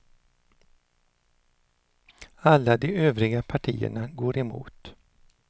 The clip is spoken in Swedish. Alla de övriga partierna går emot.